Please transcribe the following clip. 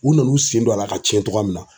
U nanu sen don a la ka cɛn cogoya min na